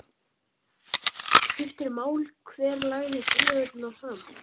Skiptir mál hver lagði tillögurnar fram